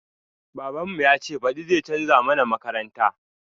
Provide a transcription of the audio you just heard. Baban mu yace baɗi zai canza mana makaranta